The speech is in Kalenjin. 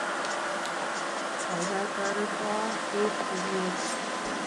Gaigai, toreto beek cheekiie